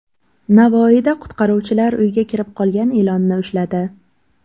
Navoiyda qutqaruvchilar uyga kirib qolgan ilonni ushladi .